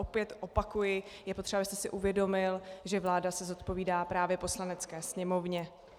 Opět opakuji, je potřeba, abyste si uvědomil, že vláda se zodpovídá právě Poslanecké sněmovně.